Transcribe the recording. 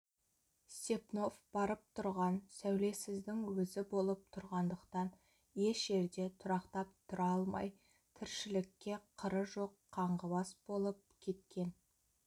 степнов барып тұрған сәулесіздің өзі болып тұрғандықтан еш жерде тұрақтап тұра алмай тіршілікке қыры жоқ қаңғыбас болып кеткен